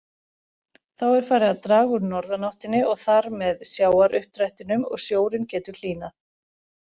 Þá er farið að draga úr norðanáttinni og þar með sjávaruppdrættinum og sjórinn getur hlýnað.